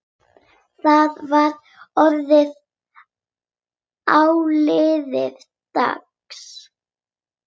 Þá var orðið áliðið dags.